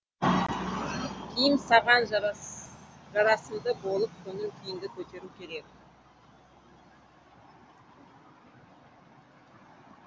киім саған жарасымды болып көңіл күйіңді көтеруі керек